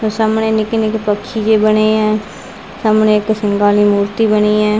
ਤੇ ਸਾਹਮਣੇ ਨਿੱਕੇ ਨਿੱਕੇ ਪਕਸ਼ੀ ਵੀ ਬਣੇ ਐ ਸਾਹਮਣੇ ਇੱਕ ਸਿੰਘਾਂ ਆਲੀ ਮੂਰਤੀ ਬਣੀ ਐ।